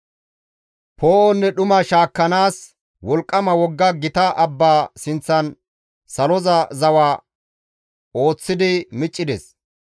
Poo7onne dhuma shaakkanaas; wolqqama wogga gita abbaa sinththan saloza zawa ooththidi miccides.